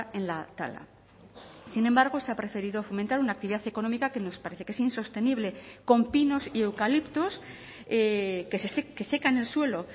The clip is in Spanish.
en la tala sin embargo se ha preferido fomentar una actividad económica que nos parece que es insostenible con pinos y eucaliptos que secan el suelo